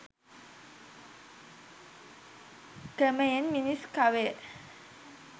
ක්‍රමයෙන් මිනිස් කවය